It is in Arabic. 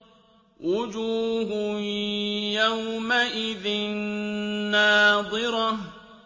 وُجُوهٌ يَوْمَئِذٍ نَّاضِرَةٌ